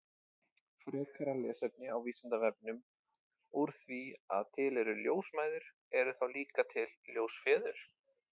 Frekara lesefni á Vísindavefnum Úr því að til eru ljósmæður, eru þá líka til ljósfeður?